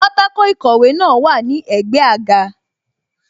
Pátákó ìkọ̀wé náà wà ní ẹ̀gbẹ́ àga